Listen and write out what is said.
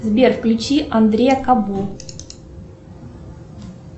сбер включи андрея кабо